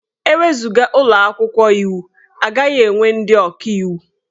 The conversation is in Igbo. E wezuga ụlọ akwụkwọ iwu, a gaghị enwe ndị ọkaiwu.